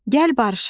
Gəl barışaq.